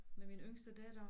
Med min yngste datter